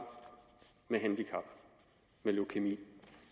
med handicap med leukæmi